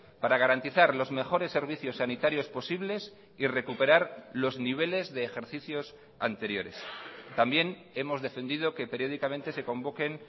para garantizar los mejores servicios sanitarios posibles y recuperar los niveles de ejercicios anteriores también hemos defendido que periódicamente se convoquen